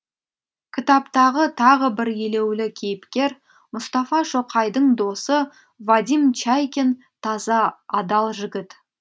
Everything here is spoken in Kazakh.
кітаптағы тағы бір елеулі кейіпкер мұстафа шоқайдың досы вадим чайкин таза адал жігіт